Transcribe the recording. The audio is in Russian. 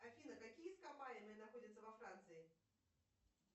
афина какие ископаемые находятся во франции